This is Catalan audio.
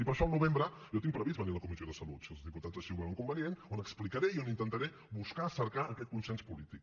i per això al novembre jo tinc previst venir a la comissió de salut si els diputats així ho veuen convenient on explicaré i on intentaré buscar cercar aquest consens polític